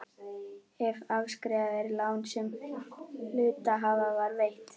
ef afskrifað er lán sem hluthafa var veitt.